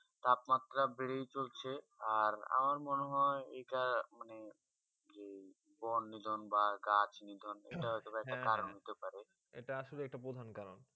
তাপ মাত্রা বেঁধে হয় চলছে আর মনে হয়ে আমার বন নিদন বা গাছ নিদন এইটা কারণ হতে পারে এটা আসলে একটা প্রধান কারণ